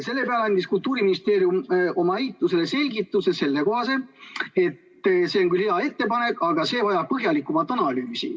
" Selle peale andis Kultuuriministeerium oma eitusele sellekohase selgituse, et see on küll hea ettepanek, aga see vajab põhjalikumat analüüsi.